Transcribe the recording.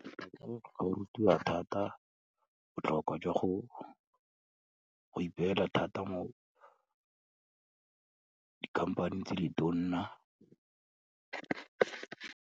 Go rutiwa thata botlhokwa jwa go, go ipela thata mo di-company tse di tona.